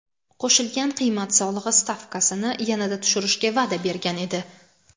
qo‘shilgan qiymat solig‘i stavkasini yanada tushirishga va’da bergan edi.